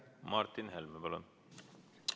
Martin Helme, palun!